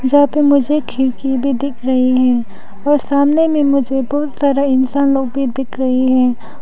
यहां पर मुझे खिड़की भी दिख रही है और सामने में मुझे बहुत सारा इंसान लोग भी दिख रही है।